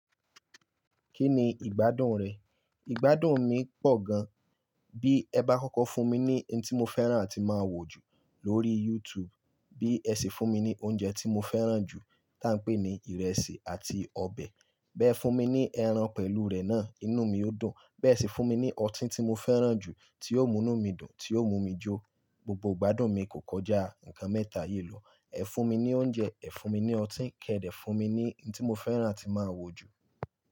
Kí ni ìgbádùn rẹ̀? Ìgbádùn mi pọ̀ gan. Bí ẹ bá kọ́kọ́ fún mi ní ohun tí mo fẹ́ràn àti máa wò jù lórí YouTube. Bí ẹ sì fún mi ní oúnjẹ tí mo fẹ́ràn jù tí à ń pè ní ìrẹsì àti ọbẹ̀. Bí ẹ fún mi ní ẹran pẹ̀lú rẹ̀ náà, inú mi ó dùn. Bí ẹ sì fún mi ní ọtí tí mo fẹ́ràn jù tí yóò mú inú mi dùn, tí yóò mú mi jó. Gbogbo ìgbádùn mi kò kọjá nǹkan mẹ́ta yìí lọ. Ẹ fún mi ní oúnjẹ, ẹ fún mi ní ọtí kẹ̀ dẹ fún mi ní ohun tí mo fẹ́ràn àti máa wò jù.